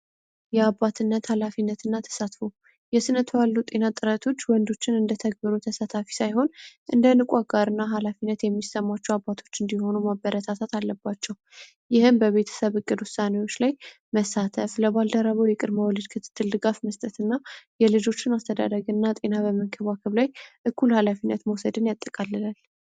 የአባትነት ኃላፊነት እና ተሳትፎ የስነቱ ያሉ ጤና ጠረቶች ወንዶችን እንደ ተግብሩ ተሳታፊ ሳይሆን እንደ ንቋ ጋር እና ሃላፊነት የሚሰሟቸው አባቶች እንዲሆኑ ማበረታታት አለባቸው። ይህም በቤተሰብ እቅዱ ውሳኔዎች ላይ መሳተፍ፤ ለባልደረበው የቅድመወልድ ክትትልድጋፍ መስጠት እና የልጆችን አስተደረግ እና ጤና በመንክቧክብ ላይ እኩል ሃላፊነት መውሰድን ያጠቃልላል።